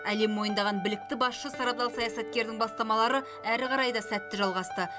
әлем мойындаған білікті басшы сарабдал саясаткердің бастамалары әрі қарай да сәтті жалғасты